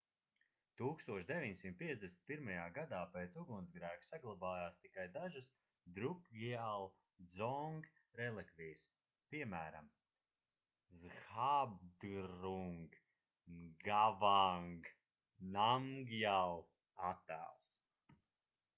1951. gadā pēc ugunsgrēka saglabājās tikai dažas drukgyal dzong relikvijas piemēram zhabdrung ngawang namgyal attēls